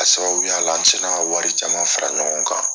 A sababuya la an sera ka wari caman fara ɲɔgɔn kan